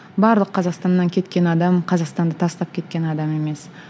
барлық қазақстаннан кеткен адам қазақстанды тастап кеткен адам емес